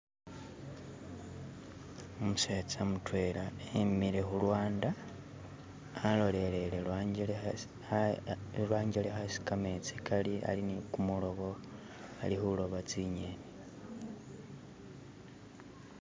Umusetsa mutwela e'mile khulwanda alolele lwangelekha isi kametsi kali ali nikumuloba, ali khuloba tsi ng'enni